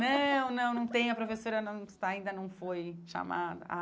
Não, não, não tem, a professora não está ainda não foi chamada ah.